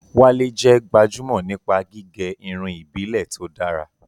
Wale jẹ́ gbajúmọ̀ nípa gígẹ irun ìbílẹ̀ tó dára.